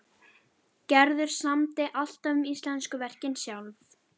Gerður samdi alltaf um íslensku verkin sjálf.